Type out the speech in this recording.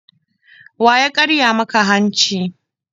Wa ya karya maka hanci?